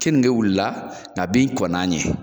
Keninge wulila nka bin kɔnna ɲɛ